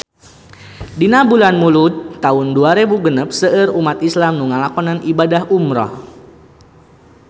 Dina bulan Mulud taun dua rebu genep seueur umat islam nu ngalakonan ibadah umrah